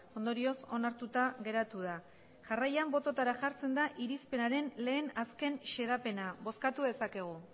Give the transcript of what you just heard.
ondorioz onartuta geratu da jarraian botoetara jartzen da irizpenaren lehen azken xedapena bozkatu dezakegu